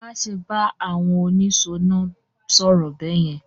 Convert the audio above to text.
Má ṣe bá àwọn oníṣọ̀nà beyen.